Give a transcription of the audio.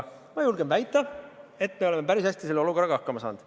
Ma julgen väita, et me oleme päris hästi selle olukorraga hakkama saanud.